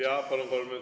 Jaa, palun!